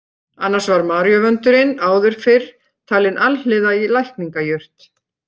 Annars var maríuvöndurinn áður fyrr talinn alhliða lækningajurt.